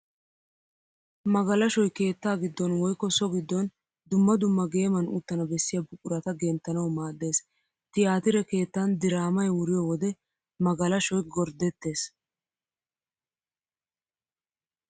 Magalashoy keettaa giddon woykko so giddon dumma dumma geeman uttana bessiya buqurata genttanawu maaddees. Tiyaatire keettan diraammay wuriyo wode magalashoy gorddettees.